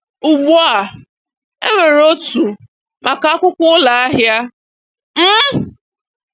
Ugbu a, enwere otu maka akwụkwọ ụlọ ahịa. um